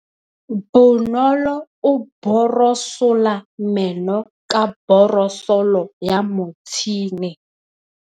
Bonolô o borosola meno ka borosolo ya motšhine.